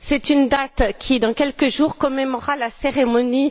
C'est la date de la cérémonie qui, dans quelques jours, commémorera le premier